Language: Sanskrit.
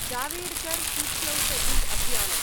जावेडकर-सूच्यौषधि-अभियानम्